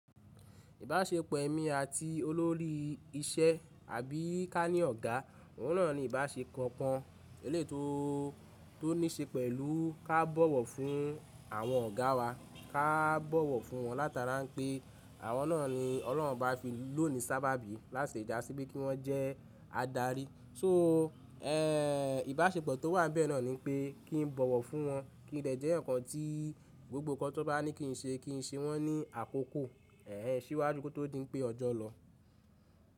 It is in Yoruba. Ìbáṣepọ̀ ẹ̀mí àti olórí ìṣe àbí ká ní ọ̀gá, òun náà ni ìbáṣe kan, eléyi tò tó níṣe pẹ̀lú ká bọ̀wọ̀ fún àwọn ọ̀gá wa, ká bọ̀wọ̀ fún wọn látara pé àwọn náà ni Ọlọ́run Obá fi lónìí sábà bí láti lè jàsí pe kí wọ́n jẹ́ adarí. So, eh, ìbáṣepọ̀ tó n wà bẹ́ẹ̀ náà ni pé kí n bọ̀wọ̀ fún wọn, kí n dẹ́ jẹ́eyaǹ kan tí gbogbo ǹkan tí wọ́n bá ní kí n ṣe, kí n ṣe wọ́n ní àkókò, ẹ́ẹ̀, síwájú kí ó tó di pé ọjọ́ lọ.